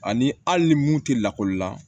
Ani hali ni mun tɛ lakɔli la